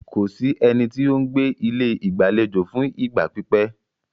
Kò sí ẹni tí o ń gbé ilé ìgbàlejò fún ìgbà pípẹ́.